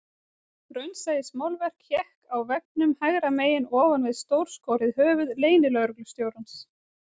Raunsæismálverk hékk á veggnum hægra megin ofan við stórskorið höfuð leynilögreglustjórans